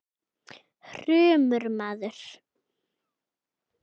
hrumur maður.